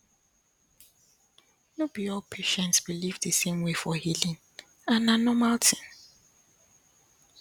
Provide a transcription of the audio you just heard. no be all patients believe the same way for healing and na normal thing